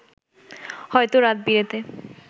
হয়তো রাত-বিরেতে